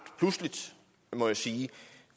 pludseligt må jeg sige